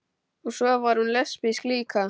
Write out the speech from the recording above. Og svo var hún lesbísk líka.